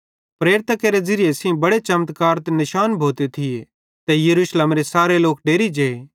प्रेरितां केरे ज़िरिये सेइं बड़े चमत्कार ते निशान भोते थिये ते यरूशलेमेरे सारे लोक डेरि जे